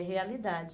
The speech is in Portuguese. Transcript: É realidade.